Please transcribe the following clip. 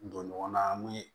Don ɲɔgɔn na an bɛ